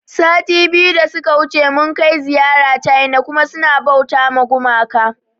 Sati biyu da suka wuce mun kai ziyara ciana kuma suna bauta ma gumaka